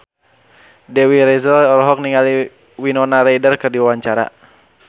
Dewi Rezer olohok ningali Winona Ryder keur diwawancara